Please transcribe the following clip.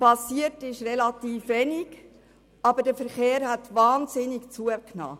Geschehen ist relativ wenig, aber der Verkehr hat wahnsinnig zugenommen.